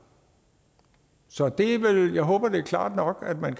så jeg håber det er klart nok at man